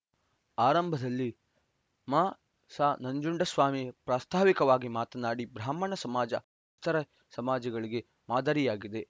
ಆರಂಭದಲ್ಲಿ ಮ ಸ ನಂಜುಂಡಸ್ವಾಮಿ ಪ್ರಾಸ್ತಾವಿಕವಾಗಿ ಮಾತನಾಡಿ ಬ್ರಾಹ್ಮಣ ಸಮಾಜ ಇತರೆ ಸಮಾಜಗಳಿಗೆ ಮಾದರಿಯಾಗಿದೆ